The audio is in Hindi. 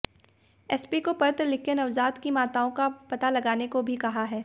एसपी को पत्र लिखकर नवजात की माताओं का पता लगाने को भी कहा है